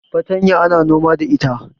fatanya ana noma da ita